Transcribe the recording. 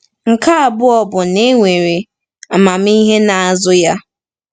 Nke abụọ bụ na e nwere amamihe n’azụ ya.